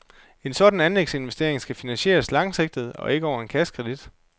En sådan anlægsinvestering skal finansieres langsigtet og ikke over en kassekredit.